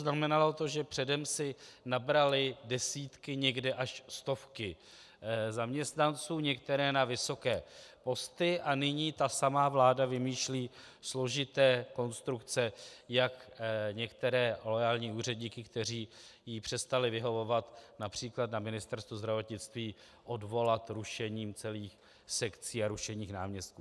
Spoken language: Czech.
Znamenalo to, že předem si nabrali desítky, někde až stovky zaměstnanců, některé na vysoké posty, a nyní ta samá vláda vymýšlí složité konstrukce, jak některé loajální úředníky, kteří jí přestali vyhovovat, například na Ministerstvu zdravotnictví, odvolat rušením celých sekcí a rušením náměstků.